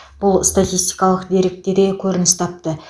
бұл статистикалық деректе де көрініс тапты